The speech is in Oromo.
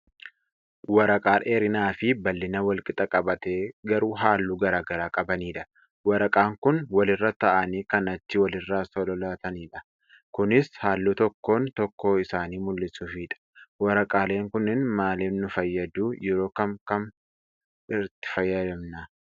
Waraqaa dheerinaafi bal'ina walqixa qabaatee garuu haalluu garaagaraa qabanidha. Waraqaan kun walirra taa'anii kan achi walirraa sololaatanidha. Kunis haalluu tokkoon tokkoo isaanii mul'isuufidha. Waraqaaleen kunneen maaliif nu fayyaduu? Yeroo kam kam itti fayyadamna?